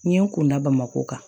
N ye n kunna bamakɔ kan